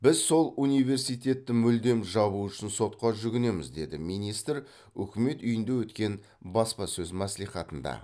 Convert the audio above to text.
біз сол университетті мүлдем жабу үшін сотқа жүгінеміз деді министр үкімет үйінде өткен баспасөз мәслихатында